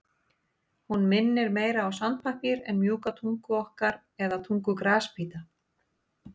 Hún minnir meira á sandpappír en mjúka tungu okkar eða tungu grasbíta.